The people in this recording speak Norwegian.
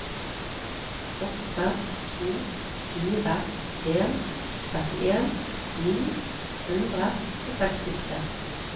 åtte to fire en trettien ni hundre og sekstitre